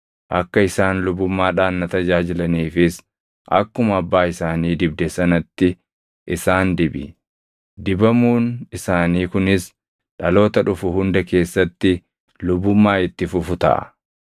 Akka isaan lubummaadhaan na tajaajilaniifis akkuma abbaa isaanii dibde sanatti isaan dibi; dibamuun isaanii kunis dhaloota dhufu hunda keessatti lubummaa itti fufu taʼa.”